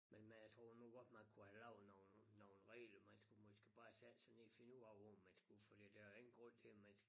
Men men jeg tror nu godt man kunne have lavet nogen nogen regler man skulle måske bare sætte sig ned og finde ud af hvor man skulle fordi der jo ingen grund til man